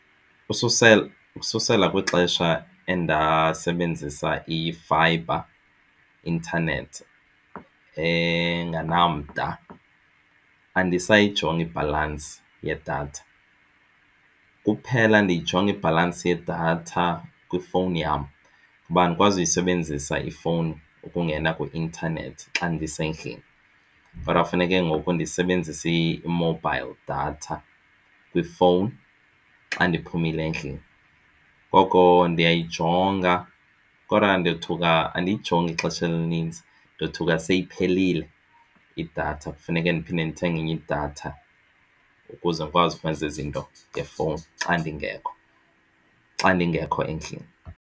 Ususela, ukususela kwixesha endasetyenziswa i-fiber internet engenamda andisayijongi ibhalansi yedatha. Kuphela ndiyijonge ibhalansi yedatha kwifowuni yam ngoba ndikwazi uyisebenzisa ifowuni ukungena kwi-intanethi xa ndisendlini. Kodwa kufuneke ngoku ndisebenzise i-mobile data kwifowuni xa ndiphumile endlini. Ngoko ndiyayijonga kodwa ndothuka andiyijongi ixesha elinintsi ndothuka seyiphelile idatha kufuneke ndiphinde ndithenge enye idatha ukuze ndikwazi ukuveza izinto ngefowuni xa ndingekho xa ndingekho endlini.